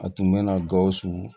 A tun bɛna gawusu